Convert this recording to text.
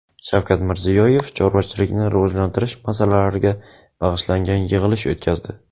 Shavkat Mirziyoyev chorvachilikni rivojlantirish masalalariga bag‘ishlangan yig‘ilish o‘tkazdi.